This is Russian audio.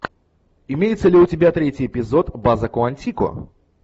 имеется ли у тебя третий эпизод база куантико